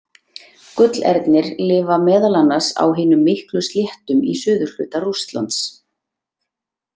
Gullernir lifa meðal annars á hinum miklu sléttum í suðurhluta Rússlands.